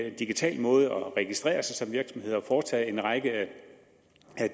en digital måde at registrere sig som virksomhed og foretage en række af